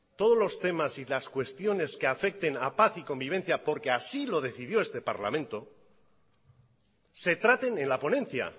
todos los temas y las cuestiones que afecten a paz y convivencia porque así lo decidió este parlamento se traten en la ponencia